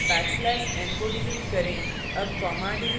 format specifier और backslash \n को delete करें